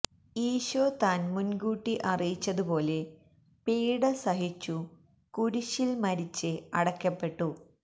ഈശോ താന് മുന്കൂട്ടി അറിയിച്ചതുപോലെ പീഡ സഹിച്ചു കുരിശില് മരിച്ച് അടക്കപ്പെട്ടു